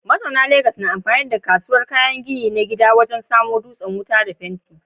Mazauna Legas na amfani da kasuwar kayan gini na gida wajen samo dutsen wuta da fenti.